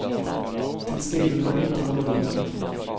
Till stilen är du inte annorlunda.